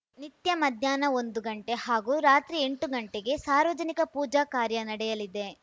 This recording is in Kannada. ನಿತ್ಯ ಮಧ್ಯಾಹ್ನ ಒಂದು ಗಂಟೆ ಹಾಗೂ ರಾತ್ರಿ ಎಂಟು ಗಂಟೆಗೆ ಸಾರ್ವಜನಿಕ ಪೂಜಾ ಕಾರ್ಯ ನಡೆಯಲಿದೆ